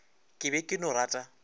ke be ke no rata